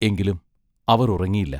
എങ്കിലും അവർ ഉറങ്ങിയില്ല.